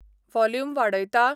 Volume वाडयता?